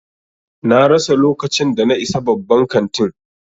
Na rasa lokacin da na isa babban kantin.